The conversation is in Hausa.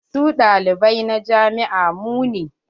Su ɗalibai na jami'an mu ne.